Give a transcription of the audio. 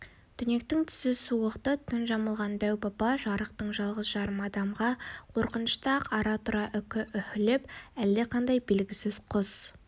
түнектің түсі суық-ты түн жамылған дәу-баба жарықтық жалғыз-жарым адамға қорқынышты-ақ ара-тұра үкі үһілеп әлдеқандай белгісіз құс